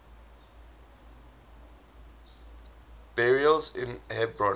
burials in hebron